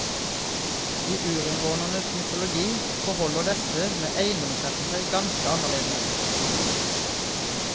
I urinnvånernes mytologi forholder dette med eiendomsretten seg ganske annerledes.